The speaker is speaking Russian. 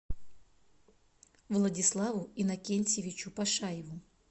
владиславу иннокентьевичу пашаеву